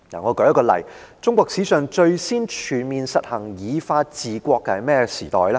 我舉一個例，中國史上最先全面實行以法治國的是甚麼時代呢？